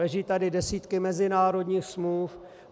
Leží tu desítky mezinárodních smluv.